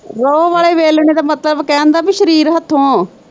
Row ਵਾਲੇ ਵੇਲਣੇ ਦਾ ਮਤਲਬ ਕਹਿਣ ਦਾ ਭੀ ਸਰੀਰ ਹੱਥੋਂ।